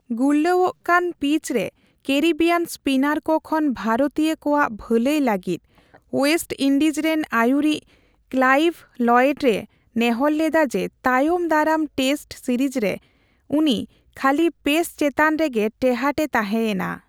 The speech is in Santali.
ᱜᱩᱨᱞᱟᱹᱣᱚᱜᱠᱟᱱ ᱯᱤᱪᱨᱮ ᱠᱮᱨᱤᱵᱤᱭᱟᱱ ᱥᱯᱤᱱᱟᱨ ᱠᱚ ᱠᱷᱚᱱ ᱵᱷᱟᱨᱚᱛᱤᱭᱚ ᱠᱚᱣᱟᱜ ᱵᱷᱟᱹᱞᱟᱹᱭ ᱞᱟᱹᱜᱤᱫ ᱳᱭᱮᱥᱴ ᱤᱱᱰᱤᱡᱽ ᱨᱮᱱ ᱟᱹᱭᱩᱨᱤᱡ ᱠᱞᱟᱭᱤᱵᱷ ᱞᱚᱭᱮᱰ ᱮ ᱱᱮᱦᱚᱨ ᱞᱮᱫᱟ ᱡᱮ, ᱛᱟᱭᱚᱢ ᱫᱟᱨᱟᱢ ᱴᱮᱥᱴ ᱨᱤᱨᱤᱡᱨᱮ ᱩᱱᱤ ᱠᱷᱟᱹᱞᱤ ᱯᱮᱥ ᱪᱮᱛᱟᱱ ᱨᱮᱜᱮ ᱴᱮᱦᱟᱴ ᱮ ᱛᱟᱸᱦᱮ ᱮᱱᱟ ᱾